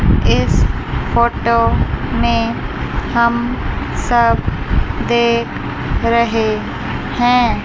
इस फोटो में हम सब देख रहे हैं।